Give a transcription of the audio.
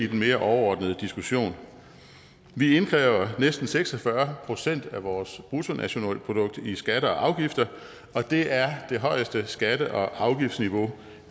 mere overordnet diskussion vi indkræver næsten seks og fyrre procent af vores bruttonationalprodukt i skatter og afgifter og det er det højeste skatte og afgiftsniveau